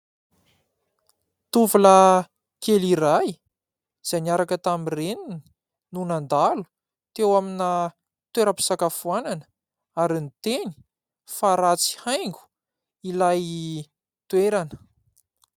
Tovolahy kely iray izay niaraka tamin'ny reniny no nandalo teo amina toeram-pisakafoanana ary niteny fa ratsy haingo ilay toerana.